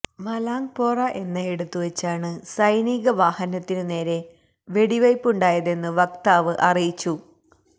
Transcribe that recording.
മലാംഗ്പോറ എന്നയിടത്തു വച്ചാണ് സൈനിക വാഹനത്തിനു നേരെ വെടിവയ്പുണ്ടായതെന്നു വക്താവ് അറിയിച്ചു